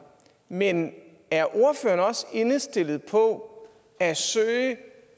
men er ordføreren også indstillet på at søge